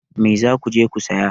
Mai za ku je ku saya?